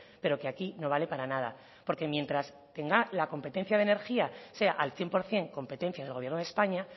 pero que aquí no vale para nada porque mientras tenga la competencia de energía sea al cien por ciento competencia del gobierno de españa